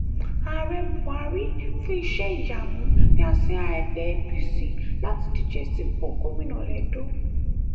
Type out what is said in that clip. ààrẹ buhari fún iṣẹ́-ìyamú ní àsíá ẹgbẹ́ apc láti díje sípò gómìnà lẹ́dọ̀